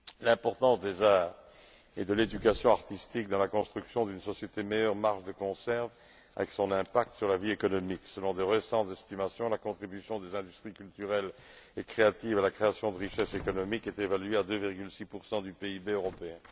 L'importance des arts et de l'éducation artistique dans la construction d'une société meilleure va de concert avec son impact sur la vie économique. Selon de récentes estimations, la contribution des industries culturelles et créatives à la création de richesses économiques est évaluée à 2,6 du PIB européen.